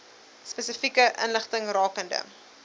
spesifieke inligting rakende